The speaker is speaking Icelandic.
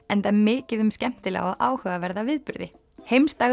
enda mikið um skemmtilega og áhugaverða viðburði